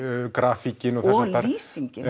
og lýsingin